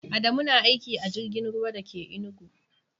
Adamu na aiki a jirgin ruwa da ke Enugu.